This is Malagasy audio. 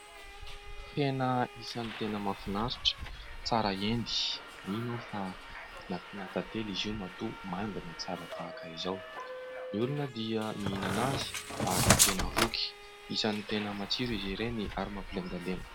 Hena isany tena mahafinaritra ,tsara endy ,mino aho fa nampiana tantely izy io mahatoa mandina tsara tahaka izao .Ny olona dia miihinana azy ary tena voky isany tena matsiro izy ireny ary mampilendalenda .